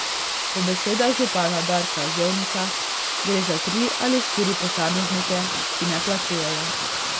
Po besedah župana Darka Zevnika gre za tri ali štiri posameznike, ki ne plačujejo.